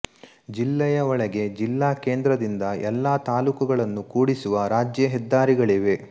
ಜಿಲ್ಲೆಯ ಒಳಗೆ ಜಿಲ್ಲಾ ಕೇಂದ್ರದಿಂದ ಎಲ್ಲ ತಾಲ್ಲೂಕುಗಳನ್ನು ಕೂಡಿಸುವ ರಾಜ್ಯ ಹೆದ್ದಾರಿಗಳಿವೆ